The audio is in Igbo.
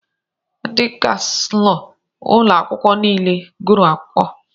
Ndị kànselọ ụlọ akwụkwọ niile gụrụ akwụkwọ